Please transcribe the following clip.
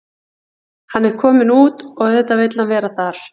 Hann er kominn út og auðvitað vill hann vera þar.